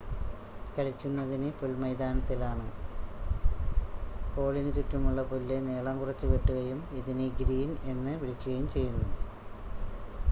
കളിക്കുന്നത് പുൽമൈതാനത്തിലാണ് ഹോളിന് ചുറ്റുമുള്ള പുല്ല് നീളം കുറച്ച് വെട്ടുകയും ഇതിനെ ഗ്രീൻ എന്ന് വിളിക്കുകയും ചെയ്യുന്നു